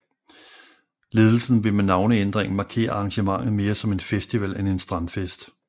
Ledelsen vil med navneændringen markere arrangementet mere som en festival end en strandfest